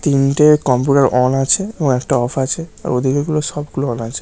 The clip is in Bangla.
তিনটে কম্পিউটার অন আছে এবং একটা ওফ আছে। ওই দিকে গুলো সব গুলো অন আছে ।